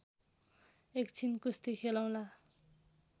एकछिन कुस्ती खेलौँला